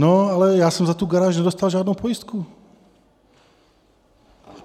No, ale já jsem za tu garáž nedostal žádnou pojistku.